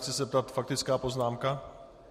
Chci se zeptat - faktická poznámka?